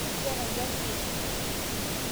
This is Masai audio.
Kiyata nkarin ee sukul